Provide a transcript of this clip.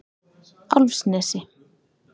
Álfsnesi